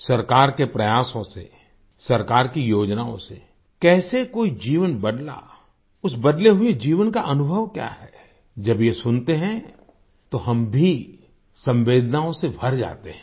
सरकार के प्रयासों से सरकार की योजनाओं से कैसे कोई जीवन बदला उस बदले हुए जीवन का अनुभव क्या है जब ये सुनते हैं तो हम भी संवेदनाओं से भर जाते हैं